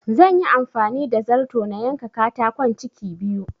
Zanyi amfani da zarto na yanka katakon ciki biyu